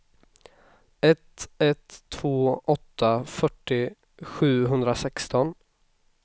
ett ett två åtta fyrtio sjuhundrasexton